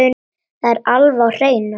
Það er alveg á hreinu.